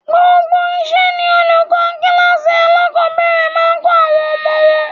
Gbogbo iṣẹ́ ni olùkọ́ kíláàsì alákọ̀ọ́bẹ̀rẹ̀ máa ń kọ àwọn ọmọ wọn.